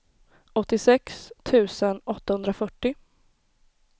åttiosex tusen åttahundrafyrtio